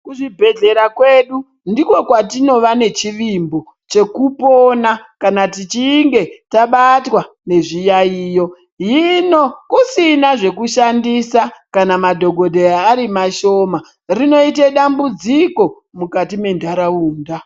Kuchibhedhlera kwedu ndiko kwatinova nechivimbo chekupona kana techinge tabatwa ngezviyaiyo, hino kusina zvekushandisa kana madhokodheya ari mashoma rinoite dambudziko mukati mentaraunda.